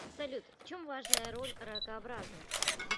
салют в чем важная роль ракообразных